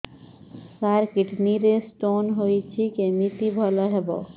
ସାର kidney ରେ stone ହେଇଛି କମିତି ଭଲ ହେବ